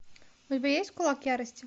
у тебя есть кулак ярости